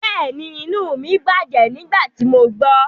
Bẹ́ẹ̀ni, inu mi bajẹ nigbati mo gbọ